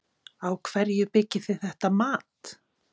Á hverju byggið þið þetta mat?